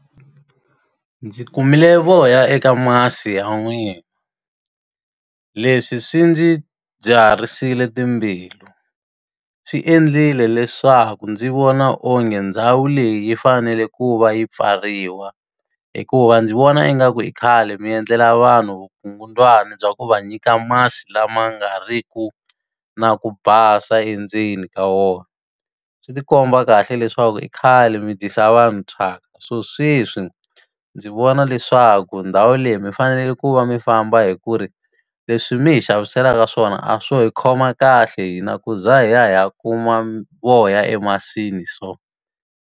Ndzi kumile voya eka masi ya n'wina leswi swi ndzi byiharisile timbilu, swi endlile leswaku ndzi vona onge ndhawu leyi yi fanele ku va yi pfariwa. Hikuva ndzi vona ingaku i khale mi endlela vanhu vukungundzwani bya ku va nyika masi lama nga riki na ku basa endzeni ka wona. Swi ti komba kahle leswaku i khale mi dyisa vanhu thyaka. So sweswi ndzi vona leswaku ndhawu leyi mi faneleke ku va mi famba hikuva, leswi mi hi xaviselaka swona a swo hi khoma kahle hina ku za hi ya hi ya kuma voya emasini so.